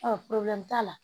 t'a la